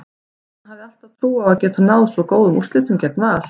En hafði hún alltaf trú á að geta náð svo góðum úrslitum gegn Val?